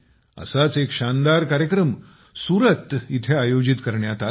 असाच एक शानदारकार्यक्रम सुरत येथे आयोजित करण्यात आला